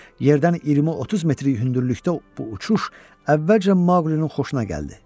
Yerdən 20-30 metr hündürlükdə bu uçuş əvvəlcə Maqlinin xoşuna gəldi.